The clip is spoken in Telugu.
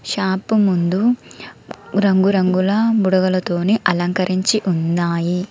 షాప్ ముందు రంగురంగుల బుడగలతోని అలంకరించి ఉన్నాయి.